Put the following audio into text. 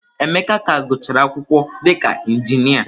Emeka ka gụchara akwụkwọ dịka Injinia.